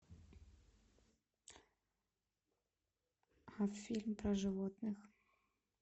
фильм про животных